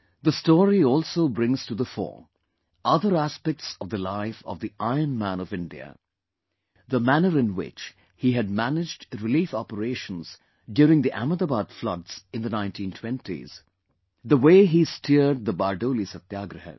The story also brings to the fore other aspects of the life of the Iron Man of India... the manner in which he had managed relief operations during the Ahmedabad floods in the 1920s; the way he steered the BardoliSatyagrah